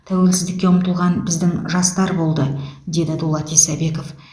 тәуелсіздікке ұмтылған біздің жастар болды деді дулат исабеков